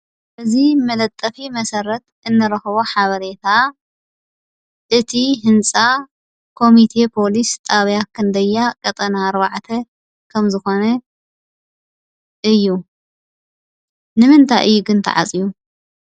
እዙይ መለጠፊ መሰረት እንረኽቦ ሓበሬታ፣ እቲ ሕንፃ ኮሚቴ ፖሊስ ጣብያ ክንደያ ቐጠና ኣርባዕተ ከም ዘኾነ እዩ። ንምንታይ እዩ ግን ተዓጽዩ?